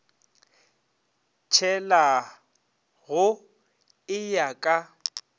tshela go e ya ka